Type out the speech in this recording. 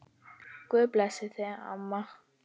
Guð blessi þig, amma.